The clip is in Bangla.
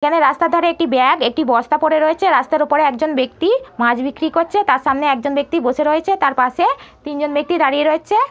এখানে রাস্তার ধারে একটি ব্যাগ একটি বস্তা পরে রয়েছে। রাস্তার ওপরে একজন ব্যক্তি মাছ বিক্রি করছে। তার সামনে একজন ব্যক্তি বসে রয়েছে। তার পাশে তিনজন ব্যক্তি দাঁড়িয়ে রয়েছে।